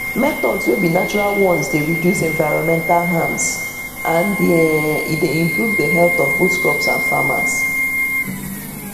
methods wey be natural ones dey reduce environmental harm and um e dey improve the health of both crops and farmers